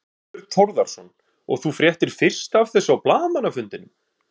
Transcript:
Þorbjörn Þórðarson: Og þú fréttir fyrst af þessu á blaðamannafundinum?